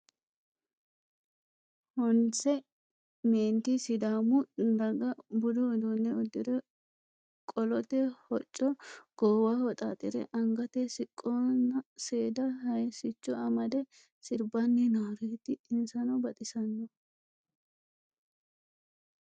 Honisse meenitti sidaammu daggaha budu uddune uddirre qolotte hocco gowwaho xaaxire anigate siqqona seeda hayisichcho amadde siribbani nooreti insanoo baxxisano